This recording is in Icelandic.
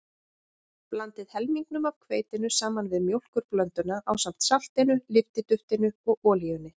Blandið helmingnum af hveitinu saman við mjólkurblönduna ásamt saltinu, lyftiduftinu og olíunni.